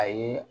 A ye